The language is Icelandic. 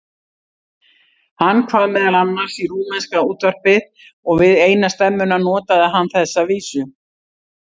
Hann kvað meðal annars í rúmenska útvarpið og við eina stemmuna notaði hann þessa vísu